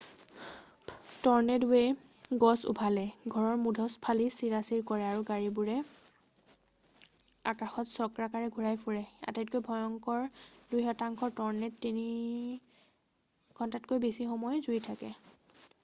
ট'ৰ্নেড'ৱে গছ উভালে ঘৰৰ মুধচ ফালি চিৰাচিৰ কৰে আৰু গাড়ীবোৰ আকাশত চক্ৰাকাৰে ঘূৰাই ফুৰে আটাইতকৈ ভয়ংকৰ দুই শতাংশ ট'ৰ্নেড' তিনি ঘণ্টাতকৈ বেছি সময় জুৰি থাকে